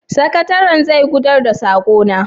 sakataren zai isar da sakona?